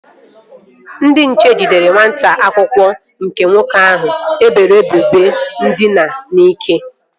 Ndị nche jidere nwata akwụkwọ nke nwoke ahụ e boro ebubo ndina n'ike